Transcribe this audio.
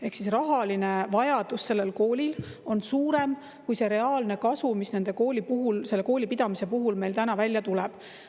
Ehk rahaline vajadus sellel koolil on suurem kui reaalne kasu, mis selle kooli pidamise puhul meile tuleb.